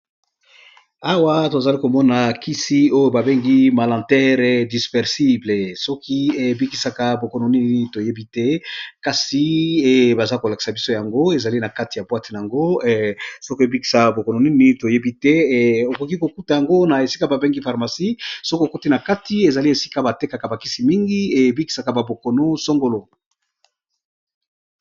Awa tozali komona kisi oyo babengi malantere dispersible soki eybikisaka bokono nini toyebi te kasi e baza kolakisa biso yango ezali na kati ya boate na yango soki ebikisa bokono nini toyebi te okoki kokuta yango na esika babengi parmacie soki okuti na kati ezali esika batekaka bakisi mingi eyebikisaka babokono songolo.